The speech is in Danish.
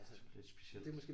Det er sgu lidt specielt